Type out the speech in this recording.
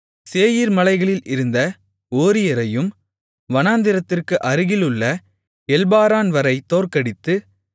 சேயீர் மலைகளில் இருந்த ஓரியரையும் வனாந்திரத்திற்கு அருகிலுள்ள எல்பாரான்வரை தோற்கடித்து